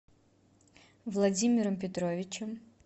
владимиром петровичем